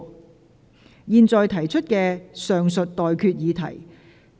我現在向各位提出上述待決議題。